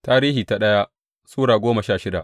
daya Tarihi Sura goma sha shida